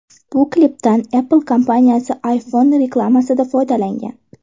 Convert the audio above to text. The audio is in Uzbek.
Bu klipdan Apple kompaniyasi iPhone reklamasida foydalangan.